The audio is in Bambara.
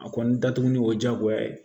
A kɔni datuguli y'o diyagoya ye